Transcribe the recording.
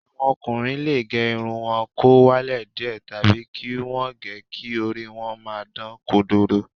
Àwọn ọkùnrin lè gẹ irun wọn kó wálẹ̀ díẹ̀ tàbí kí wọ́n gẹ̀ ẹ́ kí orí wọn máa dán kodoro